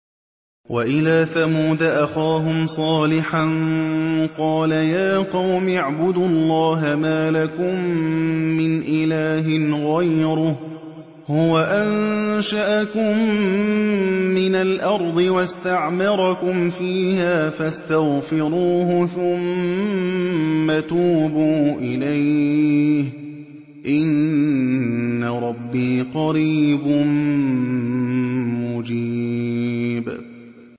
۞ وَإِلَىٰ ثَمُودَ أَخَاهُمْ صَالِحًا ۚ قَالَ يَا قَوْمِ اعْبُدُوا اللَّهَ مَا لَكُم مِّنْ إِلَٰهٍ غَيْرُهُ ۖ هُوَ أَنشَأَكُم مِّنَ الْأَرْضِ وَاسْتَعْمَرَكُمْ فِيهَا فَاسْتَغْفِرُوهُ ثُمَّ تُوبُوا إِلَيْهِ ۚ إِنَّ رَبِّي قَرِيبٌ مُّجِيبٌ